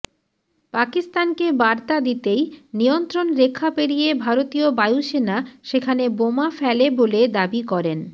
পাকিস্তানকে বার্তা দিতেই নিয়ন্ত্রণ রেখা পেরিয়ে ভারতীয় বায়ুসেনা সেখানে বোমা ফেলে বলে দাবি করেন